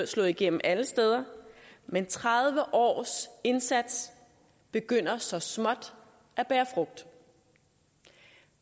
slået igennem alle steder men tredive års indsats begynder så småt at bære frugt